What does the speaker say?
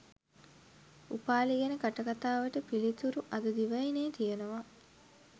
උපාලි ගැන කටකතාවට පිළිතුරු අද දිවයිනේ තියෙනවා